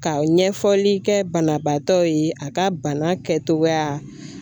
Ka ɲɛfɔli kɛ banabaatɔ ye a ka bana kɛtogoya